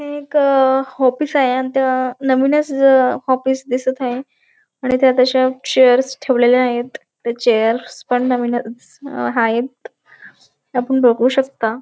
हे एक अ ऑफीस आहे अन ते नवीनच ऑफीस दिसत आहे आणि त्यात अशा चेअर्स ठेवलेल्या आहेत त्या चेअर्स पण नवीनच आहेत आपण बघू शकता.